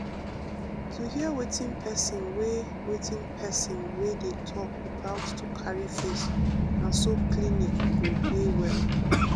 to hear wetin person wey wetin person wey dey talk without to carry face na so clinic go dey well.